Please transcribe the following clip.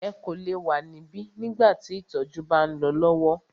Ẹ kò lè wa níbí nígbà tí ìtọjú bá ń lọ lọwọ!